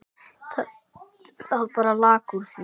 Það bara lak úr því.